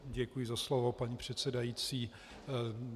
Děkuji za slovo, paní předsedající.